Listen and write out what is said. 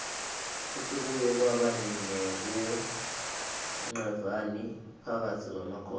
futsi kuye kwaba nekunqevani phakatsi kwemakhosi